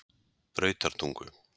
Brautartungu